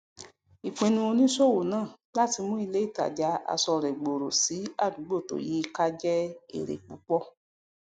ìpinnu oníṣòwò náà láti mu ilé ìtajà aṣọ rẹ gbooro sí àdúgbò tó yí i ká jẹ èrè púpọ